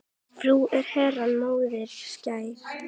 Frú er Herrans móðir skær.